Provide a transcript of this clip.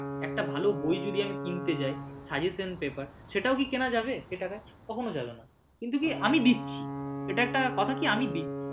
একটা ভালো বই যদি আমি কিনতে যাই suggestion paper সেটাও কি কেনা যাবে এই টাকায় কখনো যাবে না কিন্তু কি আমি দিচ্ছি এটা একটা কথা কি আমি দিচ্ছি।